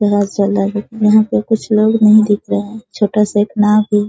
यहाँ है यहाँ पे कुछ लोग नहीं दिख रहे हैं छोटा-सा इतना भी --